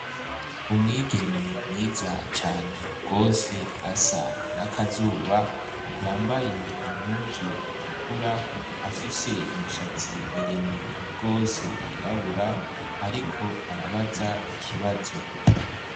Umwigeme mwiza cane gose asa nakazuba yambaye impuzu itukura afise imishatsi miremire gose yirabura ariko arabaza ikibazo